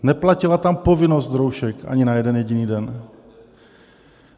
Neplatila tam povinnost roušek ani na jeden jediný den.